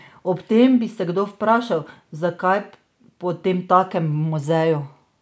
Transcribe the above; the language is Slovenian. Ob tem bi se kdo vprašal, zakaj potemtakem v muzeju?